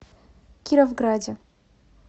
кировграде